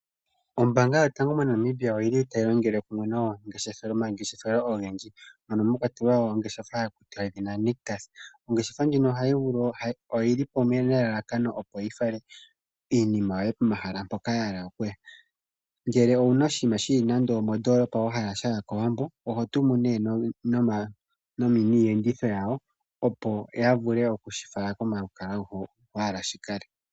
Ombaanga yotango yopashigwana moNamibia otayi longele kumwe nomangeshefelo ogendji mwa kwatelwa ongeshefa yedhina Nictus. Ongeshefa ndjika oyi li po nelalakano yi fale iinima yoye pomahala mpoka wa hala ya ya. Ngele owu na oshinima shi li mondoolopa wa hala sha ya kOwambo, oho tumu nee niiyenditho yawo, opo ya vule okushi fala komalukalwa hono wa hala shi kale.